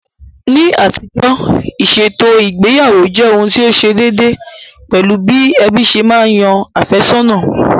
Ní àtijọ́, ìṣètò ìgbéyàwó jẹ́ ohun tí ó ṣe déédéé, pẹ̀lú bí ẹbí ṣe ma yan àfẹ́sọ̀nà